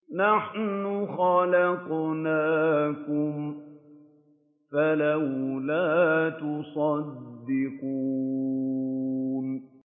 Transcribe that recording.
نَحْنُ خَلَقْنَاكُمْ فَلَوْلَا تُصَدِّقُونَ